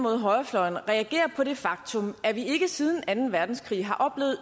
og højrefløjen reagerer på det faktum at vi ikke siden anden verdenskrig har oplevet